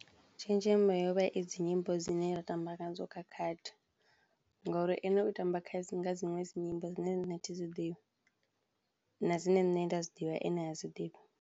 Tshenzhemo yovha i dzi nyimbo dzine ra tamba ngadzo kha khadi ngori ene u tamba dziṅwe dzi nyimbo dzine nṋe athi dzi ḓivhi na dzine nṋe nda dzi ḓivha ene ha dzi ḓivhi.